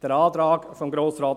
Der Antrag 1 von Grossrat